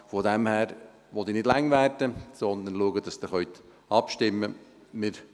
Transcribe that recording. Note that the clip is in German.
Daher will ich nicht länger werden, sondern schauen, dass Sie abstimmen können.